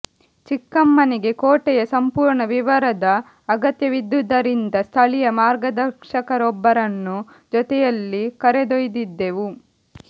ಚಿಕ್ಕಮ್ಮನಿಗೆ ಕೋಟೆಯ ಸಂಪೂರ್ಣ ವಿವರದ ಅಗತ್ಯವಿದ್ದುದ್ದರಿಂದ ಸ್ಥಳಿಯ ಮಾರ್ಗದರ್ಶಕರನ್ನೊಬ್ಬರನ್ನು ಜೊತೆಯಲ್ಲಿ ಕರೆದೊಯ್ದಿದ್ದೆವು